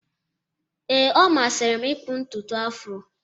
Ee, ọ masịrị m ịkpụ ntutu Afro